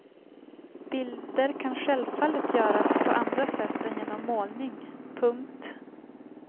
Bilder kan självfallet göras på andra sätt än genom målning. punkt